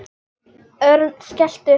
Örn skellti upp úr.